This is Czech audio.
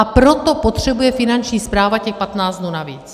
A proto potřebuje Finanční správa těch 15 dnů navíc.